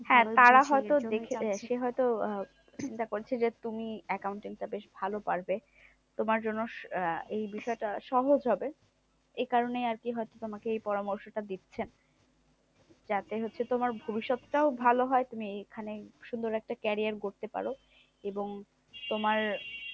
তোমার জন্য আহ এই বিষয়টা সহজ হবে। এই কারণেই আজকে হয়তো তোমাকে এই হয়তো পরামর্শটা দিচ্ছেন। যাতে হচ্ছে তোমার ভবিষ্যৎ টাও ভালো হয়। তুমি এখানেই সুন্দর একটা career গড়তে পারো এবং তোমার